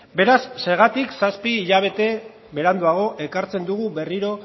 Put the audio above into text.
beraz zergatik zazpi hilabete beranduago ekartzen dugu berriro